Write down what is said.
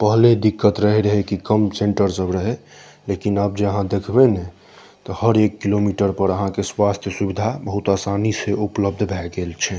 पहले दिक्कत रहे रहे की कम सेंटर सब रहे लेकिन आएब जे अहां देखबे ने हर एक किलोमीटर पर आहां के स्वास्थ्य सुवधा बहुत आसानी से उपलब्ध भए गेल छै।